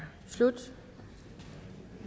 slut